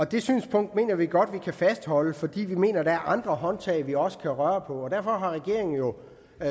det synspunkt mener vi godt vi kan fastholde for vi mener at der er andre håndtag vi også kan dreje på derfor har regeringen jo